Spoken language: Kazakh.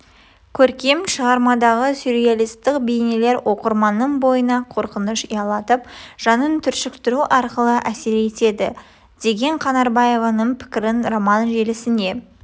көркем шығармадағы сюреалистік бейнелер оқырманның бойына қорқыныш ұялатып жанын түршіктіру арқылы әсер етеді деген қанарбаеваның пікірін роман желісіне